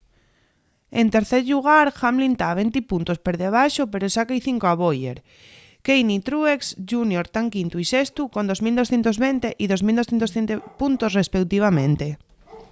en tercer llugar hamlin ta venti puntos per debaxo pero sáca-y cinco a bowyer kahne y truex jr tán quintu y sestu con 2.220 y 2.207 puntos respeutivamente